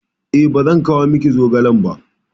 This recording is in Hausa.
E, ba zan kawo miki zogalen ba.